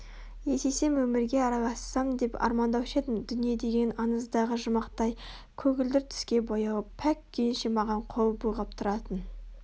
есейсем өмірге аралассам деп армандаушы едім дүние деген аңыздағы жұмақтай көгілдір түске боялып пәк күйінше маған қол бұлғап тұратын